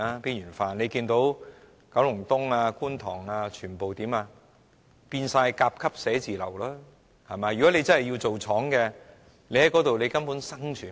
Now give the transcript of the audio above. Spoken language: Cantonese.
大家看見九龍東和觀塘等全部都已變成甲級寫字樓，如果真的要經營工廠，在那些地區根本無法生存。